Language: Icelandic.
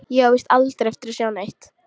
Ég á víst aldrei eftir að sjá neitt.